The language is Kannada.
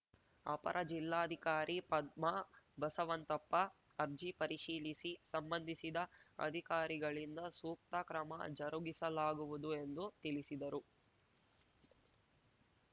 ಅಪರ ಜಿಲ್ಲಾಧಿಕಾರಿ ಪದ್ಮಾ ಬಸವಂತಪ್ಪ ಅರ್ಜಿ ಪರಿಶೀಲಿಸಿ ಸಂಬಂಧಿಸಿದ ಅಧಿಕಾರಿಗಳಿಂದ ಸೂಕ್ತ ಕ್ರಮ ಜರುಗಿಸಲಾಗುವುದು ಎಂದು ತಿಳಿಸಿದರು